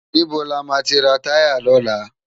Nibó lámá ti rá tàyá lòlá?